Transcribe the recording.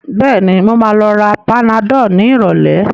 Bẹ́ẹ̀ni, mo ma lọ ra panadol ní ìrọ̀lẹ́